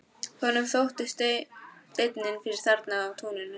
Honum þótti steinninn fyrir þarna í túninu.